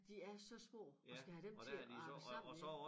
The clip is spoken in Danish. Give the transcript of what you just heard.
De er så små at skal have dem til at hænge sammen ja